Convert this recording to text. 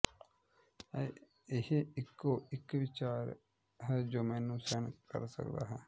ਇਹ ਇਕੋ ਇਕ ਵਿਚਾਰ ਹੈ ਜੋ ਮੈਨੂੰ ਸਹਿਣ ਕਰ ਸਕਦਾ ਹੈ